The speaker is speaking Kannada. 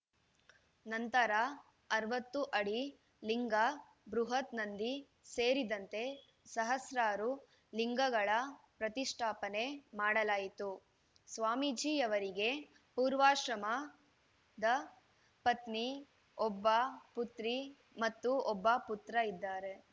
ನಂತರ ಅರವತ್ತು ಅಡಿ ಲಿಂಗ ಬೃಹತ್‌ ನಂದಿ ಸೇರಿದಂತೆ ಸಹಸ್ರಾರು ಲಿಂಗಗಳ ಪ್ರತಿಷ್ಠಾಪನೆ ಮಾಡಲಾಯಿತು ಸ್ವಾಮೀಜಿಯವರಿಗೆ ಪೂರ್ವಾಶ್ರಮದ ಪತ್ನಿ ಒಬ್ಬ ಪುತ್ರಿ ಮತ್ತು ಒಬ್ಬ ಪುತ್ರ ಇದ್ದಾರೆ